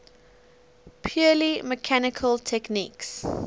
purely mechanical techniques